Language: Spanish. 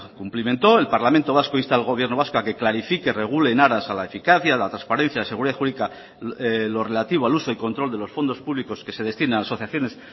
cumplimentó el parlamento vasco insta al gobierno vasco ha que clarifique en aras a la eficacia a la transparencia de seguridad jurídica en lo relativo al uso y control de los fondos públicos que se destina a asociaciones